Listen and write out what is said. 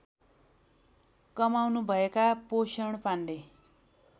कमाउनुभएका पोषण पाण्डे